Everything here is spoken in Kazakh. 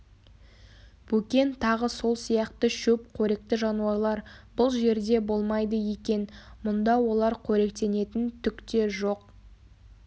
бөкен тағы сол сияқты шөп қоректі жануарлар бұл жерде болмайды екен мұнда олар коректенетін түк те жоқ